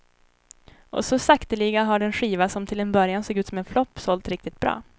Och så sakteliga har den skiva som till en början såg ut som en flopp sålt riktigt bra.